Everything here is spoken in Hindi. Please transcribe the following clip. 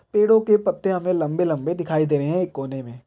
पेड़ों के पत्ते हमें लम्बे-लम्बे दिखाई दे रहे हैं एक कोने में।